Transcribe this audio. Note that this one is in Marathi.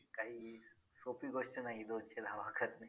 काही सोपी गोष्ट नाही दोनशे धावा करणे.